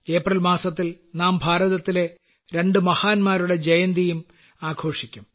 April മാസത്തിൽ നാം ഭാരതത്തിലെ രണ്ടു മഹാന്മാരുടെ ജയന്തിയും ആഘോഷിക്കും